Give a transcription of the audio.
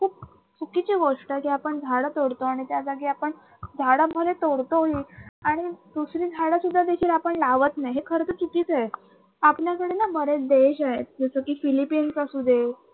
चुकीची गोष्ट आहे की आपण झाड तोडतो आणि त्याजागी आपण झाडं जरी तोडतो ही आणि दुसरी झाडं सुद्धा देखील आपण लावत नाही, हे खर तर चुकीचे आहे. आपल्याक्कडे न बरेच देश आहेत जसं कि फिलिपिन्स असू दे